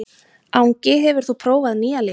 Angi, hefur þú prófað nýja leikinn?